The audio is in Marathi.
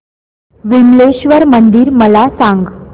विमलेश्वर मंदिर मला सांग